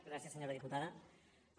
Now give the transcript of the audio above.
gràcies senyora diputada